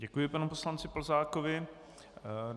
Děkuji panu poslanci Plzákovi.